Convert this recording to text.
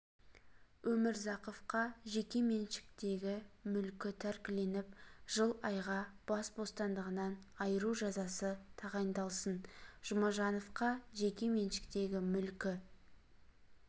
өмірзақовқа жеке меншіктегі мүлкі тәркіленіп жыл айға бас бостандығынан айыру жазасы тағайындалсын жұмажановқа жеке меншіктегі мүлкі